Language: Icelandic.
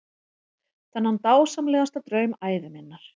Þennan dásamlegasta draum ævi minnar.